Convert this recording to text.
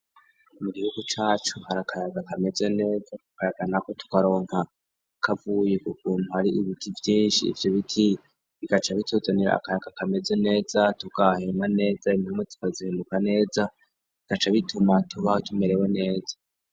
Mu gihugu cacu hari akayaga kameze neza, ako kayaga nako tukaronka kavuye ukukuntu hari ibiti vyinshi, ivyo biti bigaca bituzanira akayaka kameze neza tugahema neza impwemu zigahinduka neza bigaca bituma tubaho tumerewe neza.